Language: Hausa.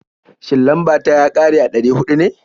Shin, lambar ta ya ƙare a ɗari huɗu ne?